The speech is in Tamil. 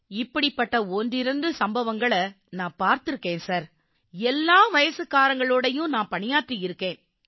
இப்படிப்பட்ட ஒன்றிரண்டு சம்பவங்களை நான் பார்த்திருக்கேன் எல்லா வயசுக்காரங்களோடயும் நான் பணியாற்றியிருக்கேன்